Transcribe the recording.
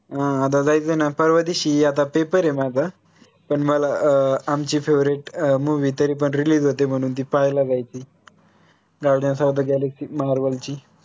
अं आता जायचं ना परवा दिवशी आता paper आहे माझा पण मला अं आमची favorite movie तरी पण release होते म्हणून ती पाहायला जायची guardians of the galaxy marvels ची